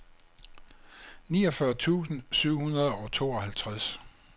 niogfyrre tusind syv hundrede og tooghalvtreds